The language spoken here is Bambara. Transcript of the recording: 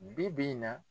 Bi bi in na